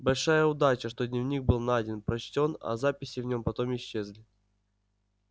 большая удача что дневник был найден прочтён а записи в нём потом исчезли